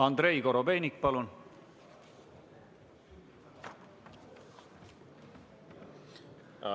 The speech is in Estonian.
Andrei Korobeinik, palun!